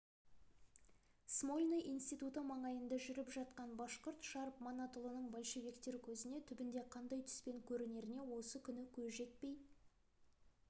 смольный институты маңайында жүріп жатқан башқұрт шарп манатұлының большевиктер көзіне түбінде қандай түспен көрінеріне осы күні көз жетпей